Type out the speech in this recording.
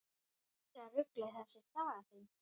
Meira ruglið þessi saga þín!